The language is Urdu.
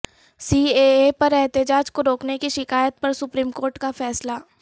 سی اے اے پر احتجاج کو روکنے کی شکایت پر سپریم کورٹ کا فیصلہ